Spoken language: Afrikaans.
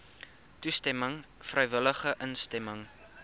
toestemming vrywillige instemming